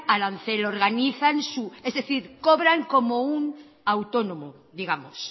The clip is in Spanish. arancel organizan su es decir cobran como un autónomo digamos